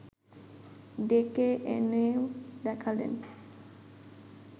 ডেকে এনেও দেখালেন